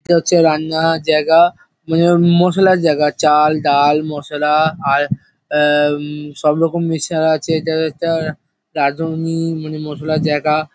এটা হচ্ছে রান্নার জায়গা মানে মশলার জায়গা চাল ডাল মশলা আর অ্যা উম সবরকম মিক্সচার আছে এটা একটা রাঁধুনি মানে মশলার জায়গা।